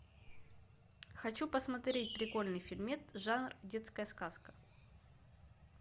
хочу посмотреть прикольный фильмец жанр детская сказка